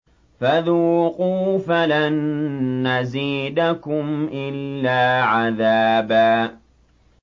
فَذُوقُوا فَلَن نَّزِيدَكُمْ إِلَّا عَذَابًا